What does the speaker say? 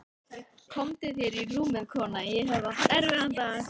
Komdu þér í rúmið, kona, ég hef átt erfiðan dag.